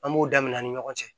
An b'o damin'a ni ɲɔgɔn cɛ